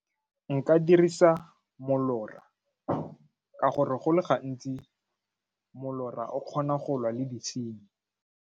Nka dirisa molora ka gore go le gantsi molora o kgona go lwa le ditshenyi.